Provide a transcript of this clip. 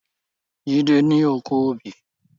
Jide ni ókó óbì